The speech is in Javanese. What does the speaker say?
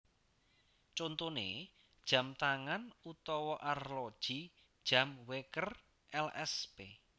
Contoné jam tangan utawa arloji jam wèker lsp